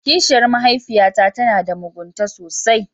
Kishiyar mahaifiyata tana da mugunta sosai.